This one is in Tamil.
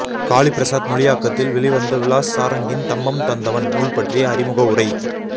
காளிப்பிரசாத் மொழியாக்கத்தில் வெளிவந்த விலாஸ் சாரங்கின் தம்மம் தந்தவன் நூல் பற்றிய அறிமுக உரை